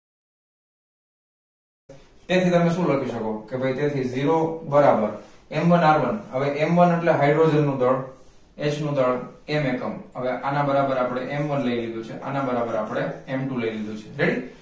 તેથી તમે શું લખી શકો? કે ભૈ તેથી zero બરાબર m one r one હવે m one એટલે hydrogen નું દળ h દળ m એકમ હવે આના બરાબર આપડે m one લઈ લીધુ છે અને આના બરાબર આપડે m two લઈ લીધુ છે ready